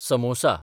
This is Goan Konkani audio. समोसा